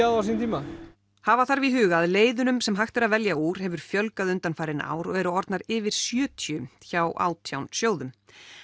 á sínum tíma hafa þarf í huga að leiðunum sem hægt er að velja úr hefur fjölgað undanfarin ár og eru orðnar yfir sjötíu hjá átján sjóðum